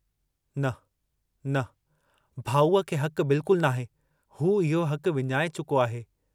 न... न... भाऊअ खे हकु बिल्कुल नाहे, हू इहो हकु विञाए चुको आहे।